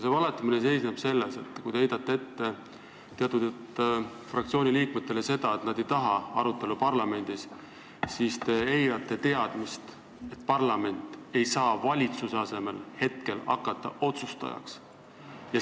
See valetamine seisneb selles, et kui te heidate teatud fraktsiooni liikmetele ette, et nad ei taha arutelu parlamendis, siis te eirate teadmist, et parlament ei saa hetkel valitsuse asemel otsustajaks hakata.